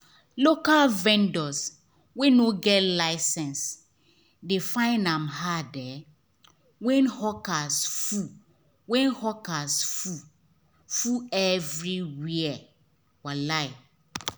local vendors wey no get license dey find am hard um when hawkers full when hawkers full everywhere. um